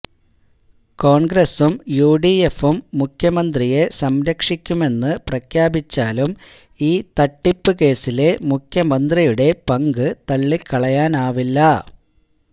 കോണ്ഗ്രസും യു ഡി എഫും മുഖ്യമന്ത്രിയെ സംരക്ഷിക്കുമെന്ന് പ്രഖ്യാപിച്ചാലും ഈ തട്ടിപ്പുകേസിലെ മുഖ്യമന്ത്രിയുടെ പങ്ക് തള്ളിക്കളയാനാവില്ല